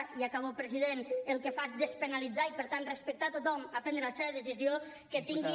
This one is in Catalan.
i acabo president el que fa és despenalitzar i per tant respectar a tothom al prendre la seva decisió que tinguin